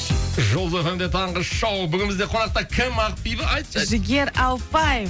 жұлдыз фм де таңғы шоу бүгін бізде қонақта кім ақбибі айтшы айтшы жігер ауыпбаев